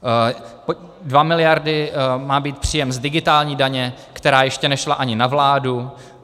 Dvě miliardy má být příjem z digitální daně, která ještě nešla ani na vládu.